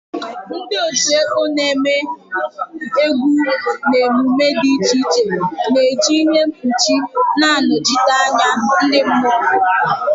Ndị otu ekpo na-eme egwu na emume dị iche iche na-eji ihe mkpuchi na-anọchite anya ndị mmụọ.